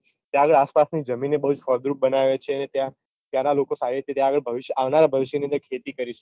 ત્યાની આસપાસની જમીન એ બૌ ફળદ્રુપ બનાવે છે ત્યાંના લોકો સારી રીતે ત્યાં આગળ ભવિષ્ય આવનારા ભવિષ્યની અંદર ખેતી કરી શકે